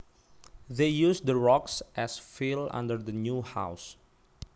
They used the rocks as fill under the new house